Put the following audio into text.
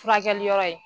Furakɛli yɔrɔ ye